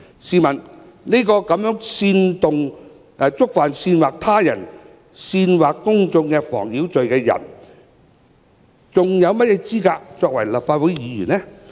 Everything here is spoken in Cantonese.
試問這樣一個觸犯煽惑他人煽惑公眾妨擾罪的人，還有何資格作為立法會議員呢？